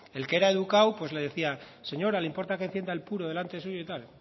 el que era educado pues le decía señora le importa que encienda el puro delante suyo y tal